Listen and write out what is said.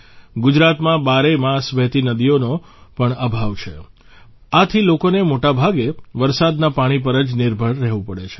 ગુજરાતમાં બારેય માસ વહેતી નદીઓનો પણ અભાવ છે આથી લોકોને મોટાભાગે વરસાદના પાણી પર જ નિર્ભર રહેવું પડે છે